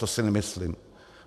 To si nemyslím.